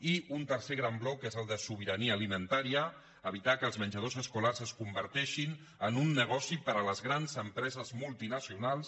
i un tercer gran bloc que és el de sobirania alimentà·ria evitar que els menjadors escolars es converteixin en un negoci per a les grans empreses multinacionals